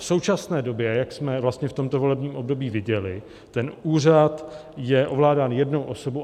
V současné době, jak jsme vlastně v tomto volebním období viděli, ten úřad je ovládán jednou osobou.